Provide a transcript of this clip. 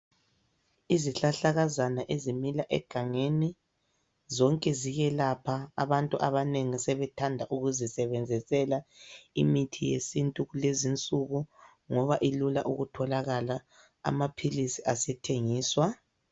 Izihlahlakazana ezimila egangeni zonke ziyelapha abantu abanengi sebethanda ukuzisebenzisela imithi yesintu kulezinsuku ngoba ilula ukutholakala amaphilisi asethengiswa.